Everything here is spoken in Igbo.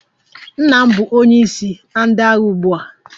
Nna m bụ onye isi na ndị agha ugbu a.